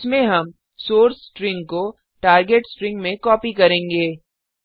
इसमें हम source string को टार्गेट स्ट्रिंग में कॉपी करेंगे